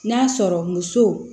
N'a sɔrɔ muso